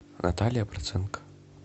наталья проценко